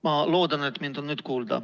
Ma loodan, et mind on nüüd kuulda.